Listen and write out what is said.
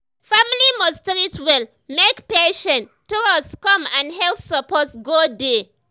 family must treat well make patient trust come and health support go dey.